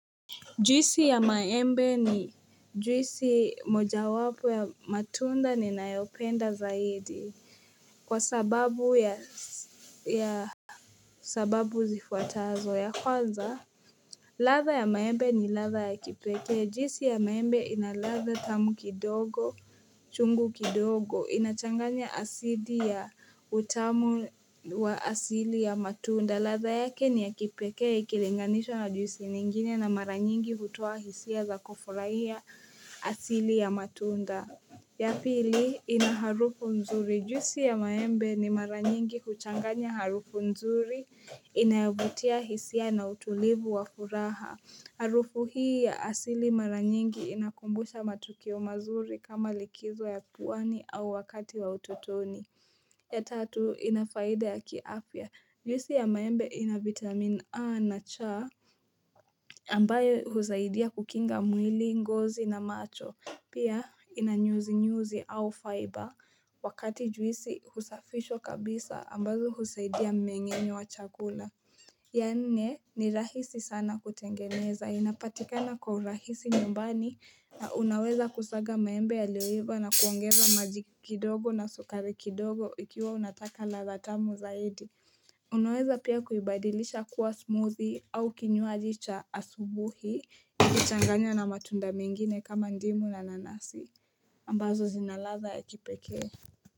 Juisi ya maembe ni juisi moja wapo ya matunda ninayopenda zaidi kwa sababu ya sababu zifuatazo ya kwanza. Ladha ya maembe ni ladha ya kipekee. Juisi ya maembe inaladha tamu kidogo, chungu kidogo, inachanganya asidi ya utamu wa asili ya matunda. Ladha yake niya kipekee, ikilinganishwa na juisi nyingine na mara nyingi hutoa hisia za kufurai ya asili ya matunda. Ya pili ina harufu nzuri. Juisi ya maembe ni mara nyingi kuchanganya harufu nzuri. Inayovutia hisia na utulivu wa furaha. Harufu hii ya asili mara nyingi inakumbusha matukio mazuri kama likizo ya pwani au wakati wa utotoni. Ya tatu inafaida ya kiafya. Juisi ya maembe ina vitamin A na cha ambayo husaidia kukinga mwili, ngozi na macho. Pia inanyuzinyuzi au faiba wakati juisi husafisha kabisa ambazo huzaidia mnyengenyo wa chakula. Ya nne ni rahisi sana kutengeneza inapatikana kwa rahisi nyumbani na unaweza kusaga maembe yaliyoiva na kuongeza maji kidogo na sukari kidogo ikiwa unataka ladha tamu zaidi Unaweza pia kuibadilisha kua smoothie au kinyuwaji cha asubuhi kuchanganya na matunda mingine kama ndimu na nanasi ambazo zina ladha ya kipekee.